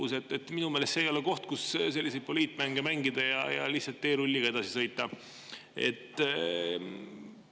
Minu meelest see ei ole, mille puhul võib selliseid poliitmänge mängida ja lihtsalt teerulliga edasi sõita.